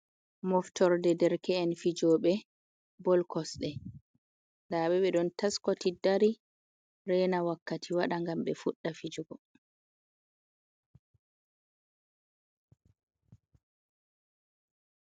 Moftorde derke’en fijoɓe bol kosɗe, nda ɓe ɓe ɗon taskiti, ndari, rena wakkati waɗa ngam ɓe fuɗa fijugo.